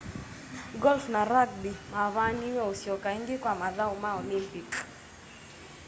golf na rugby mavaniiwe usyoka ingi kwa mathau ma olympic